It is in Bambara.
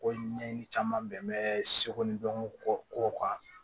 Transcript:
Ko ɲɛɲini caman bɛ seko ni dɔnko kow kan